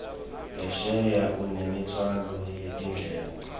ngesheya unemtfwalo wetindleko